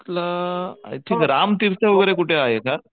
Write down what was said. ल I think राम टाइट वैगेरे कुठे आहे का?